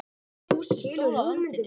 Fúsi stóð á öndinni.